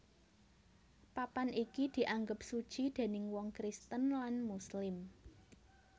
Papan iki dianggep suci déning wong Kristen lan Muslim